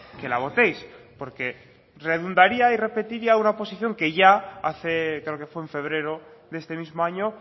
que la votéis porque redundaría y repetiría una posición que ya hace creo que fue en febrero de este mismo año